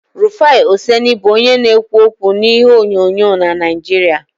Rufai Oseni bụ onye na-ekwu okwu n'ihe onyonyo na Naijiria